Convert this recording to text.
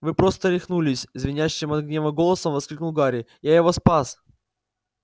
вы просто рехнулись звенящим от гнева голосом воскликнул гарри я его спас